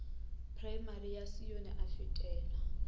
praemari sa sione a fetela